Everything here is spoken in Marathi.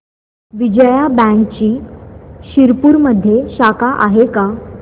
विजया बँकची शिरपूरमध्ये शाखा आहे का